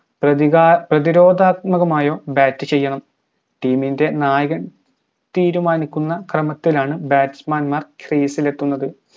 പ്രതിക പ്രതിരോധാത്മകമായോ bat ചെയ്യണം team ന്റെ നായകൻ തീരുമാനിക്കുന്ന ക്രമത്തിലാണ് batsman മാർ crease ഇൽ എത്തുന്നത്